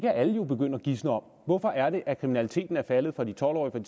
kan alle jo begynde at gisne om hvorfor er det at kriminaliteten er faldet for de tolv årige